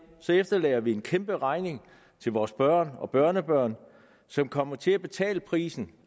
efterlader vi en kæmperegning til vores børn og børnebørn som kommer til at betale prisen